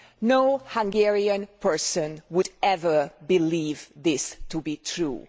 No Hungarian person would ever believe this to be true.